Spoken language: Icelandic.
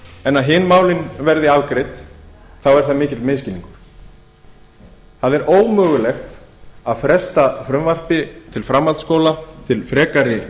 en hin málin veri afgreidd þá er það mikill misskilningur það er ómögulegt að fresta frumvarpi til framhaldsskóla til frekari